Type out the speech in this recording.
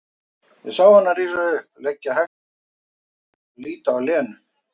Ég sá hana rísa upp, leggja hægt frá sér viskustykkið og líta á Lenu.